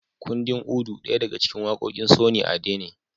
Kundin Udu daya daga cikin waƙoƙin Sunny Ade ne